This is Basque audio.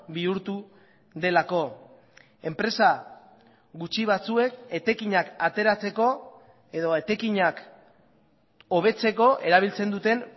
bihurtu delako enpresa gutxi batzuek etekinak ateratzeko edo etekinak hobetzeko erabiltzen duten